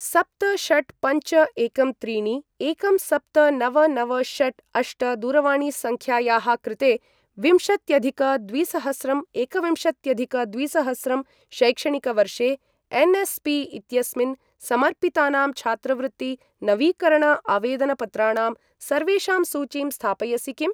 सप्त षट् पञ्च एकं त्रीणि एकं सप्त नव नव षट् अष्ट दूरवाणीसङ्ख्यायाः कृते विंशत्यधिक द्विसहस्रं एकविंशत्यधिक द्विसहस्रं शैक्षणिकवर्षे एन्.एस्.पी. इत्यस्मिन् समर्पितानां छात्रवृत्ति नवीकरण आवेदनपत्राणां सर्वेषां सूचीं स्थापयसि किम्?